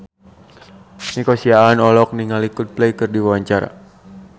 Nico Siahaan olohok ningali Coldplay keur diwawancara